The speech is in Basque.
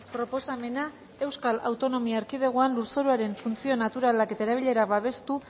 proposamena euskal autonomia erkidegoan lurzoruaren funtzio naturalak eta erabilerak babestu